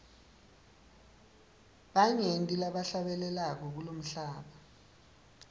banyenti labahlabelako kulomhlaba